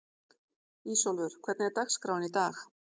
Ísólfur, hvernig er dagskráin í dag?